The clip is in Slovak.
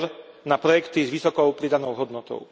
EUR na projekty s vysokou pridanou hodnotou.